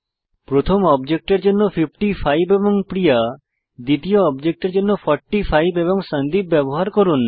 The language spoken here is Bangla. প্রথম অবজেক্টের জন্য 55 এবং প্রিয়া দ্বিতীয় অবজেক্টের জন্য 45 এবং সন্দীপ ব্যবহার করুন